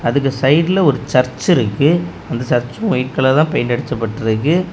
அதுக்கு சைடுல ஒரு சர்ச் இருக்கு அந்த சர்ச் ஒயிட் கலர்ல பெயிண்ட் அடிச்க்கப்பட்ருக்கு.